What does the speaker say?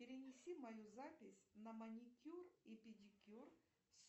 перенеси мою запись на маникюр и педикюр